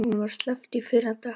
Honum var sleppt í fyrradag